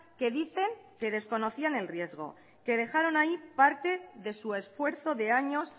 que dicen que desconocían el riesgo que dejaron ahí parte de su esfuerzo de años